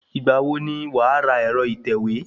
Ìgbà wo ni wàá ra ẹ̀rọ ìtẹ̀wé?